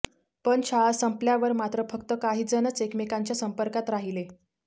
पण शाळा संपल्यावर मात्र फक्त काहीजणच एकमेकांच्या संपर्कात राहिले